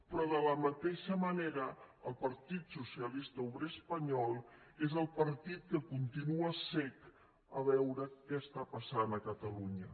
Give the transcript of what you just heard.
però de la mateixa manera el partit socialista obrer espanyol és el partit que continua cec a veure què està passant a catalunya